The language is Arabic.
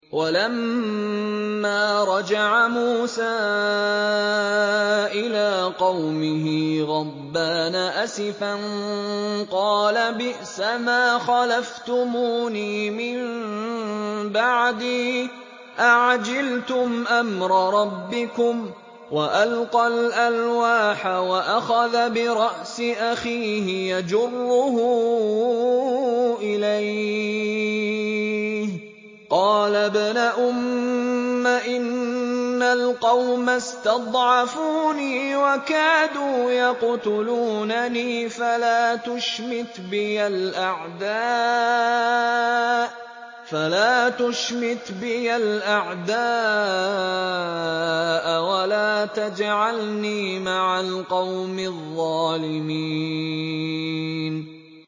وَلَمَّا رَجَعَ مُوسَىٰ إِلَىٰ قَوْمِهِ غَضْبَانَ أَسِفًا قَالَ بِئْسَمَا خَلَفْتُمُونِي مِن بَعْدِي ۖ أَعَجِلْتُمْ أَمْرَ رَبِّكُمْ ۖ وَأَلْقَى الْأَلْوَاحَ وَأَخَذَ بِرَأْسِ أَخِيهِ يَجُرُّهُ إِلَيْهِ ۚ قَالَ ابْنَ أُمَّ إِنَّ الْقَوْمَ اسْتَضْعَفُونِي وَكَادُوا يَقْتُلُونَنِي فَلَا تُشْمِتْ بِيَ الْأَعْدَاءَ وَلَا تَجْعَلْنِي مَعَ الْقَوْمِ الظَّالِمِينَ